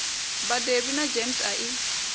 badelwi na gems a i